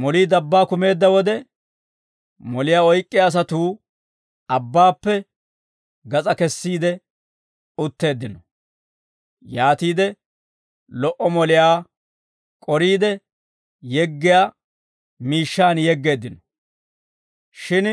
Molii dabbaa kumeedda wode, moliyaa oyk'k'iyaa asatuu abbaappe gas'aa kesiide utteeddino; yaatiide lo"o moliyaa k'oriide, yeggiyaa miishshaan yeggeeddino; shin